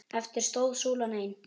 Eftir stóð súlan ein.